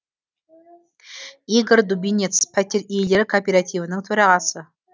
игорь дубинец пәтер иелері кооперативінің төрағасы